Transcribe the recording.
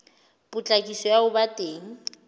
patlisiso ya ho ba teng